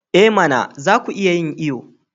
I mana! za ku iya yin iyo.